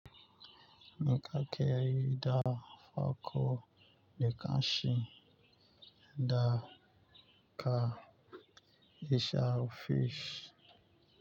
Ni ka keri da farko, ni ka shi, da ka ishar fish.